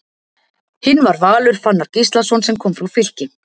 Hinn var Valur Fannar Gíslason sem kom frá Fylki.